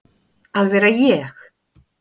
að vera ég.